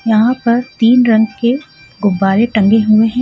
यहां पर तीन रंग के गुबारे टंगे हुए है.